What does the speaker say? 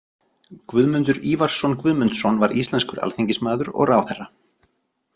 Guðmundur Ívarsson Guðmundsson var íslenskur alþingismaður og ráðherra.